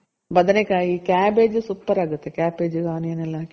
ಬದನೇಕಾಯಿ, cabbage super ಆಗುತ್ತೆ cabbage onion ಎಲ್ಲ ಹಾಕಿ.